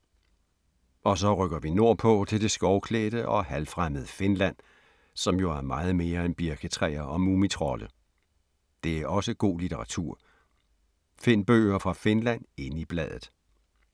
Og så rykker vi nordpå til det skovklædte og halvfremmede Finland, som jo er meget mere end birketræer og mumitrolde. Det er også god litteratur. Find bøger fra Finland inde i bladet.